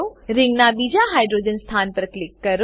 રિંગનાં બીજા હાઇડ્રોજન સ્થાન પર ક્લિક કરો